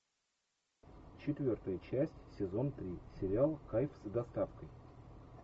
четвертая часть сезон три сериал кайф с доставкой